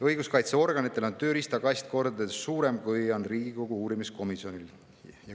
Õiguskaitseorganitel on tööriistakast kordades suurem, kui on Riigikogu uurimiskomisjonil.